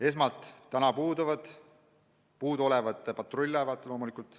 Esmatähtsad on puudu olevad patrull-laevad loomulikult.